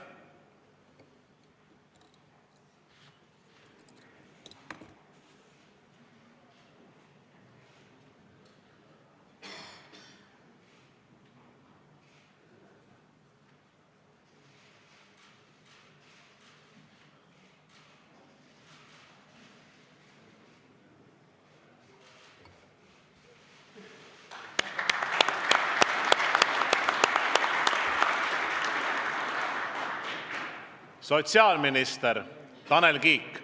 Sotsiaalminister Tanel Kiik.